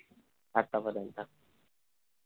आता पर्यंत